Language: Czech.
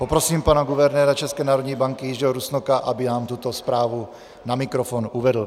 Poprosím pana guvernéra České národní banky Jiřího Rusnoka, aby nám tuto zprávu na mikrofon uvedl.